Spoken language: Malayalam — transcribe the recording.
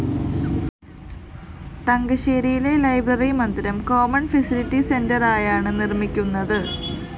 തങ്കശ്ശേരിയിലെ ലൈബ്രറി മന്ദിരം കോമണ്‍ ഫെസിലിറ്റി സെന്ററായാണ് നിര്‍മ്മിക്കുന്നത്